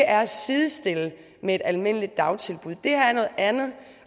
er at sidestille med et almindeligt dagtilbud det her er noget andet